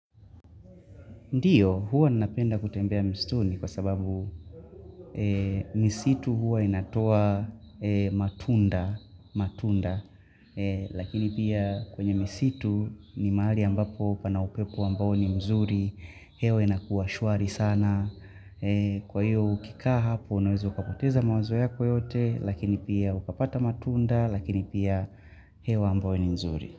Ndiyo, huwa nanapenda kutembea msituni kwa sababu misitu huwa inatoa matunda, matunda, lakini pia kwenye misitu ni maali ambapo upana upepu ambao ni mzuri, hewa inakuwa shwari sana. Kwa hiyo ukikaha hapo, unaweza ukapoteza mawazo yako yote, lakini pia ukapata matunda, lakini pia hewa ambayo ni mzuri.